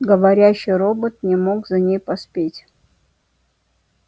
говорящий робот не мог за ней поспеть